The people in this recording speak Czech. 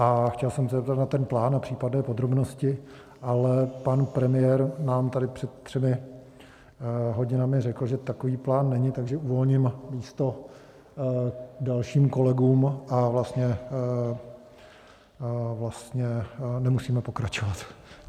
A chtěl jsem se zeptat na ten plán a případné podrobnosti, ale pan premiér nám tady před třemi hodinami řekl, že takový plán není, takže uvolním místo dalším kolegům a vlastně nemusíme pokračovat.